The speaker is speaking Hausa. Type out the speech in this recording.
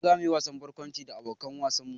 Gobe za mu yi wasan barkwanci da abokan wasan mu